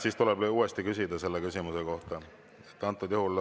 Siis tuleb uuesti küsida selle küsimuse kohta.